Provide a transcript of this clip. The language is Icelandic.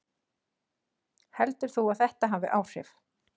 Heldur þú að þetta hafi áhrif?